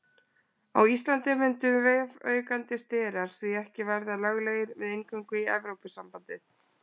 Á Íslandi mundu vefaukandi sterar því ekki verða löglegir við inngöngu í Evrópusambandið.